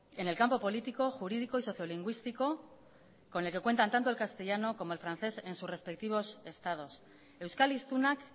en el campo político jurídico y sociolingüístico con el que cuentan tanto el castellano como el francés en sus respectivos estados euskal hiztunak